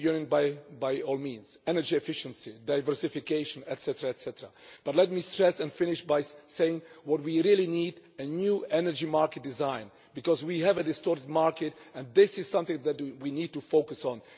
By all means, energy union, energy diversification etc. But let me stress and finish by saying that what we really need is a new energy market design, because we have a distorted market. This is something that we need to focus on.